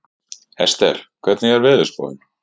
Ester, hvernig er veðurspáin?